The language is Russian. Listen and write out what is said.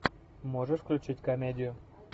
можешь включить комедию